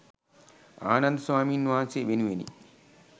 ආනන්ද ස්වාමීන් වහන්සේ වෙනුවෙනි